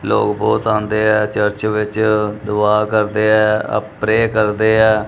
ਲੋਗ ਬਹੁਤ ਆਉਂਦੇ ਐ ਚਰਚ ਵਿੱਚ ਦੁਆ ਕਰਦੇ ਐ ਅ ਪ੍ਰੇ ਕਰਦੇ ਐ।